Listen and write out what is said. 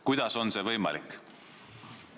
Kuidas on see võimalik?